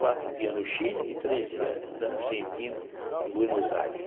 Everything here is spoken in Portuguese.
Quatro dias no Chile e três dias na Argentina, em Buenos Aires.